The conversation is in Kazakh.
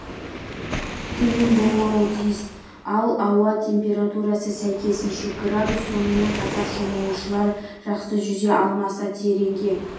төмен болмауы тиіс ал ауа температурасы сәйкесінше градус сонымен қатар шомылушылар жақсы жүзе алмаса тереңге